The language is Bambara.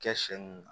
Kɛ sɛn mun na